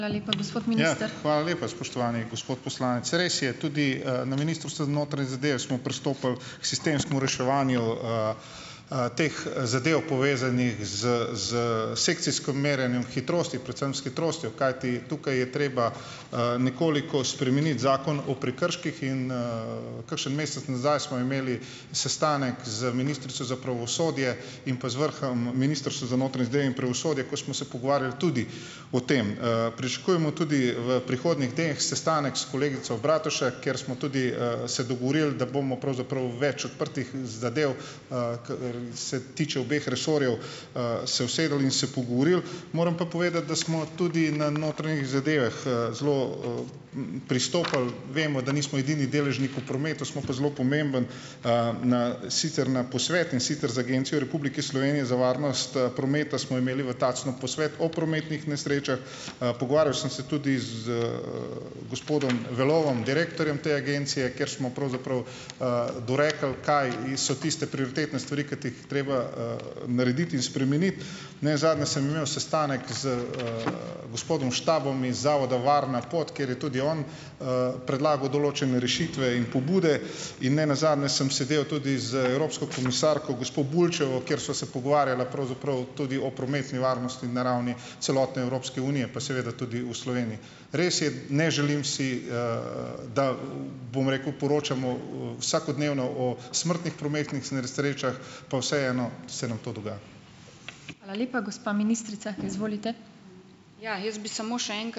Hvala lepa, spoštovani gospod poslanec. Res je, tudi, na Ministrstvu za notranje zadeve smo pristopili k sistemskemu reševanju teh zadev, povezanih s s sekcijskm merjenjem hitrosti, predvsem s hitrostjo, kajti tukaj je treba, nekoliko spremeniti Zakon o prekrških. Kakšen mesec nazaj smo imeli sestanek z ministrico za pravosodje in pa z vrhom pravosodja, ko smo se pogovarjali tudi o tem. Pričakujemo tudi, v prihodnjih teh, sestanek s kolegico Bratušek, kjer smo tudi, se dogovorili, da bomo pravzaprav več odprtih zadev, kar se tiče obeh resorjev, se usedli in se pogovorili. Moram pa povedati, da smo tudi na notranjih zadevah, zelo, pristopili, vemo, da nismo edini deležnik v prometu, smo pa zelo pomemben, na sicer na posvet, in sicer z Agencijo Republike Slovenije za varnost prometa, smo imeli v Tacnu posvet o prometnih nesrečah. Pogovarjal sem se tudi z gospodom Velovom, direktorjem te agencije, kjer smo pravzaprav, dorekli, kaj in so tiste prioritetne stvari, kot jih treba narediti in spremeniti. Ne zadnje sem imel sestanek z gospodom Štabom iz Zavoda Varna pot, kjer je tudi on predlagal določene rešitve in pobude. In ne nazadnje sem sedel tudi z evropsko komisarko, gospo Bulčevo, kjer sva se pogovarjala pravzaprav tudi o prometni varnosti na ravni celotne Evropske unije pa seveda tudi v Sloveniji. Res je, ne želim si, bom rekel, poročamo vsakodnevno o smrtnih prometnih nesrečah, pa vseeno se nam to dogaja.